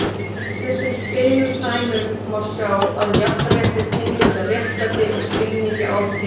Af þessum tveimur dæmum má sjá að jafnrétti tengist réttlæti og skilningi á því.